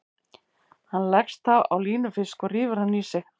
Hann leggst þá á línufisk og rífur hann í sig.